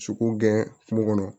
Sogo gɛn kungo kɔnɔ